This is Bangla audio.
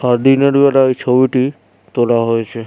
আর দিনের বেলায় এই ছবিটি তোলা হয়েছে।